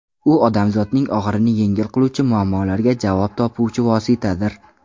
U odamzodning og‘irini yengil qiluvchi, muammolariga javob topuvchi vositadir.